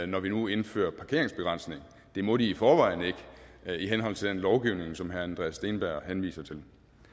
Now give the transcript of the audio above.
når vi nu indfører parkeringsbegrænsningen det må de i forvejen ikke i henhold til den lovgivning som herre andreas steenberg henviser til